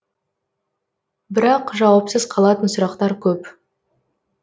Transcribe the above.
бірақ жауапсыз қалатын сұрақтар көп